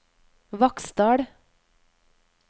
Vaksdal